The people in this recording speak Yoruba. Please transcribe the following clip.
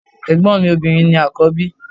Ẹ̀gbọ́n mi obìnrin ni àkọ́bí.